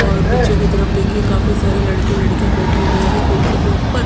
और पीछे के तरफ देखिए काफी सारे लड़के लड़कियाँ बैठे हुए हैं कुर्सी के ऊपर --